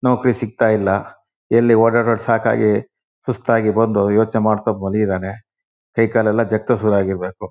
ನೌಕ್ರಿ ಸಿಕ್ತಾಯಿಲ್ಲ ಎಲ್ಲಿ ಓಡಾಡ್ ಸಾಕಾಗಿ ಸುಸ್ತಾಗಿ ಬಂದು ಯೋಚ್ನೆ ಮಾಡ್ತ ಮಾಲಗಿದಾನೆ ಕೈಕಾಲೆಲ್ಲಾ ಜಗ್ತಾ ಶುರುವಾಗಿರ್ಬೇಕು.